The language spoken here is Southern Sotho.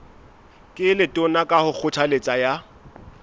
ke letona ka kgothaletso ya